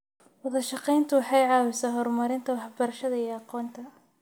Wadashaqeyntu waxay caawisaa horumarinta waxbarashada iyo aqoonta.